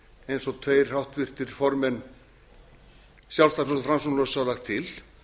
eins og tveir háttvirtur formenn sjálfstæðisflokks og framsóknarflokks hafa lagt til